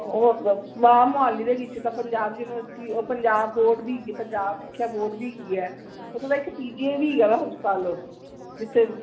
ਉਹ ਵਾ ਮੋਹਾਲੀ ਦੇ ਵਿਚ ਤਾ ਪੰਜਾਬ university ਉਹ ਪੰਜਾਬ board ਵੀ ਹੇਗੀ ਪੰਜਾਬੀ ਸਿੱਖਿਆ board ਵੀ ਹੇਗੀ ਐ ਓਹਦੇ ਵਿਚ PGI ਵੀ ਹੇਗਾ ਵਾ ਹਸਪਤਾਲ ਜਿਥੇ